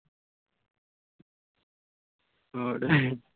ਹੋਰ।